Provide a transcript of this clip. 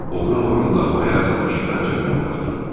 Oğrun-oğrun daxmaya yaxınlaşıb pəncərədən baxdım.